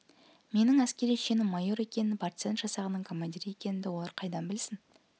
менің әскери шенім майор екенін партизан жасағының командирі екенімді олар қайдан білсін